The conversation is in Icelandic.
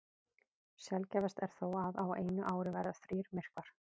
Sjaldgæfast er þó að á einu ári verði þrír myrkvar.